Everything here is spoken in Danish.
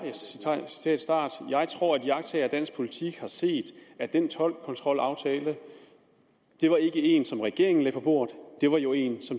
jeg tror at iagttagere af dansk politik har set at den toldkontrolaftale det var ikke én som regeringen lagde på bordet det var jo én